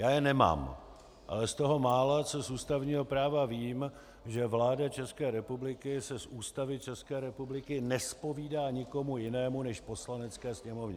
Já je nemám, ale z toho mála, co z ústavního práva vím, že vláda České republiky se z Ústavy České republiky nezpovídá nikomu jinému než Poslanecké sněmovně.